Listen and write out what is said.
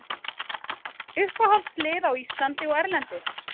Uppáhaldslið á Íslandi og erlendis?